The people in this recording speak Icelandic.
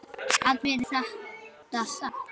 Gat þetta verið satt?